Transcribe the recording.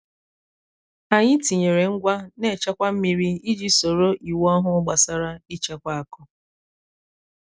anyị tinyere ngwa na-echekwa mmiri iji soro iwu ọhụụ gbasara ịchekwa akụ.